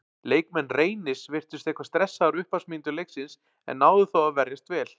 Leikmenn Reynis virtust eitthvað stressaðir á upphafsmínútum leiksins en náðu þó að verjast vel.